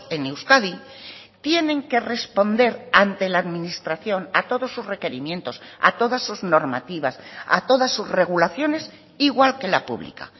en euskadi tienen que responder ante la administración a todos sus requerimientos a todas sus normativas a todas sus regulaciones igual que la pública